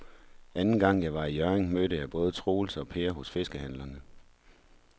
Anden gang jeg var i Hjørring, mødte jeg både Troels og Per hos fiskehandlerne.